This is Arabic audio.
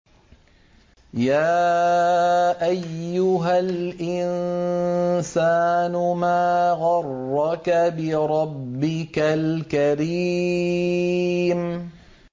يَا أَيُّهَا الْإِنسَانُ مَا غَرَّكَ بِرَبِّكَ الْكَرِيمِ